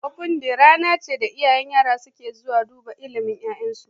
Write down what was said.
Ofen day rana ce da iyayen yara suke zuwa dubar ilimin ya'yansu